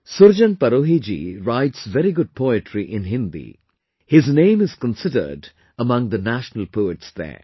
Surjan Parohi ji writes very good poetry in Hindi; his name is considered among the national poets there